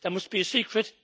There must be a secret.